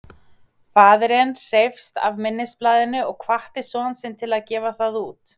faðirinn hreifst af minnisblaðinu og hvatti son sinn til að gefa það út